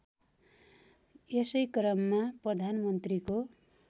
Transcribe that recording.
यसै क्रममा प्रधानमन्त्रीको